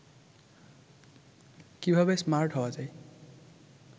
কিভাবে স্মার্ট হওয়া যায়